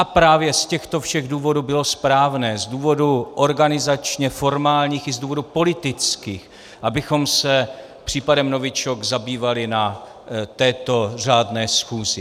A právě z těchto všech důvodů bylo správné, z důvodů organizačně formálních i z důvodů politických, abychom se případem novičok zabývali na této řádné schůzi.